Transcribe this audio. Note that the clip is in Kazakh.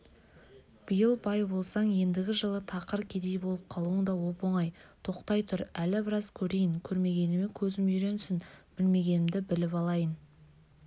биыл бай болсаң ендігі жылы тақыр кедей болып қалуың да оп-оңай тоқтай тұр әлі біраз көрейін көрмегеніме көзім үйренсін білмегенімді біліп алайын